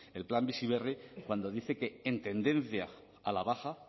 el plan bizi berri cuando dice que en tendencia a la baja